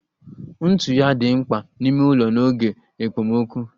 Ntụ oyi dị mkpa n'ime ụlọ n'oge ekpomokụ